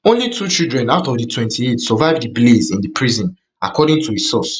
only two children out of twenty-eight survive di blaze in di prison according to a source